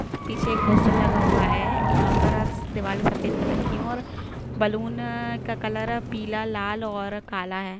पीछे एक पोस्टर लगा हुआ है यहाँ पर अ दीवाले सफेद कलर की है और बैलून का कलर पीला लाल और काला है।